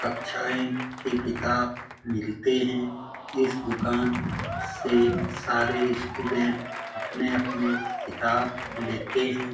कक्षाए के किताब मिलते हैं। इस दुकान से सारे स्टूडेंट अपने-अपने किताब लेते हैं।